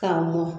K'a mɔ